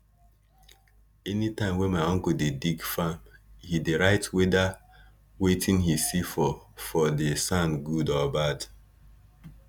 anytime my uncle dey dig farm he dey write whedir wetin he see for for di sand good or bad